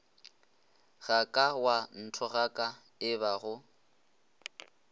ga ka wa nthogaka ebago